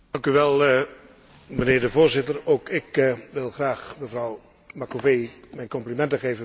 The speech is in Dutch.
Voorzitter, ook ik wil graag mevrouw Macovei mijn complimenten geven met het bereikte resultaat.